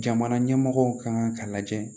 Jamana ɲɛmɔgɔw kan k'a lajɛ